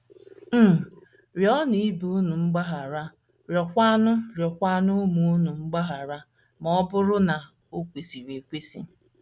um Rịọnụ ibe unu mgbaghara rịọkwanụ rịọkwanụ ụmụ unu mgbaghara, ma ọ bụrụ na o kwesịrị ekwesị.